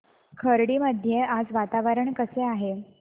खर्डी मध्ये आज वातावरण कसे आहे